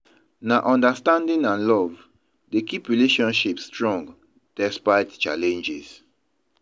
Na understanding and love dey keep relationships strong despite challenges.